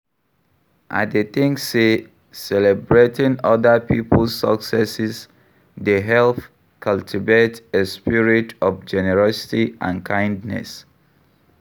I dey think say celebrating other people's successes dey help cultivate a spirit of generosity and kindness.